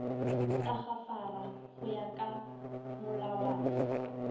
tagafara go ya ka molawana